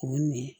O ni